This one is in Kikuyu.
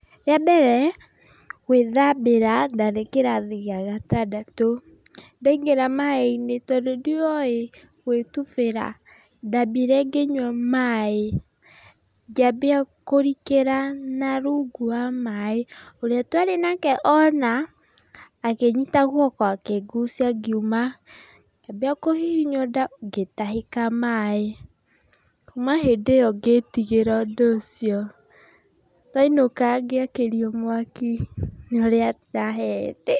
Rĩa mbere gũĩthambĩra, ndarĩ kĩrathi gĩa gatandatũ, ndaingĩra maĩ-inĩ tondũ ndiowĩ gũĩtubĩra, ndambire ngĩnyua maĩ, ngĩambia kũrikĩra na rungu wa maĩ, ũrĩa twarĩ nake ona, akĩnyita guoko akĩngucia ngiuma, ngĩambia kũhihinywo nda ngĩtahĩka maĩ, kuma hĩndĩ ĩyo ngĩtigĩra ũndũ ũcio, twainũka ngĩakĩrio mwaki nĩ ũrĩa ndahehete.